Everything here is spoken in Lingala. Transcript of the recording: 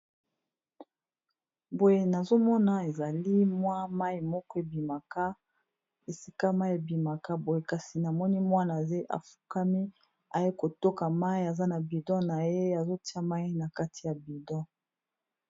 Boye nazomona ezali mwa mai moko ebimaka esika mai ebimaka boye kasi namoni mwana afukami aye kotoka mai aza na budon na ye azotia mai na kati ya budo.